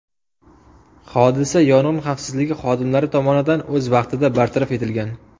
Hodisa yong‘in xavfsizligi xodimlari tomonidan o‘z vaqtida bartaraf etilgan.